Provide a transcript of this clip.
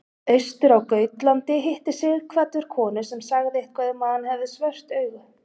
Austur á Gautlandi hitti Sighvatur konu sem sagði eitthvað um að hann hefði svört augu.